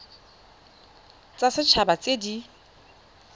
tsa set haba tse di